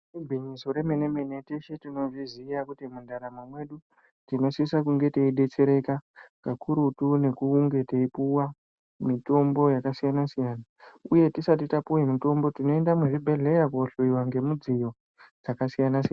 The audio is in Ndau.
Igwinyiso remenemene teshe tinozviziva kuti mundaramo mwedu tinosisa kunge teyibetsereka kakurutu nekunge teyipuwa mitombo yakasiyana siyana uye tisati tapiwe mitombo tinoenda muzvibhedhleya kunohloyiwa ngemidziyo dzakasiyana siyana.